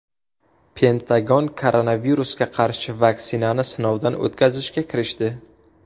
Pentagon koronavirusga qarshi vaksinani sinovdan o‘tkazishga kirishdi.